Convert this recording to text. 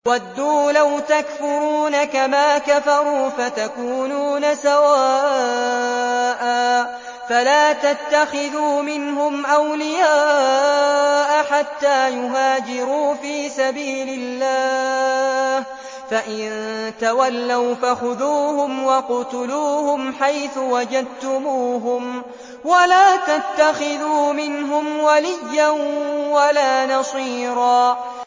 وَدُّوا لَوْ تَكْفُرُونَ كَمَا كَفَرُوا فَتَكُونُونَ سَوَاءً ۖ فَلَا تَتَّخِذُوا مِنْهُمْ أَوْلِيَاءَ حَتَّىٰ يُهَاجِرُوا فِي سَبِيلِ اللَّهِ ۚ فَإِن تَوَلَّوْا فَخُذُوهُمْ وَاقْتُلُوهُمْ حَيْثُ وَجَدتُّمُوهُمْ ۖ وَلَا تَتَّخِذُوا مِنْهُمْ وَلِيًّا وَلَا نَصِيرًا